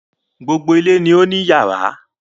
Gbogbo ilé ni ó ní iyàrá